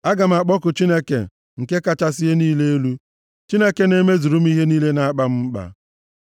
Aga m akpọku Chineke nke kachasị ihe niile elu, Chineke na-emezuru m ihe niile na-akpa m mkpa.